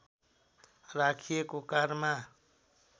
राखिएको कारमा